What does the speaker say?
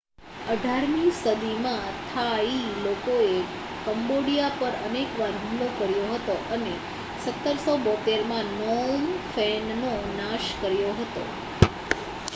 18મી સદીમાં થાઈ લોકોએ કંબોડિયા પર અનેક વાર હુમલો કર્યો હતો અને 1772માં નોમ ફેનનો નાશ કર્યો હતો